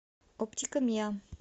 оптика миа